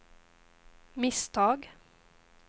misstag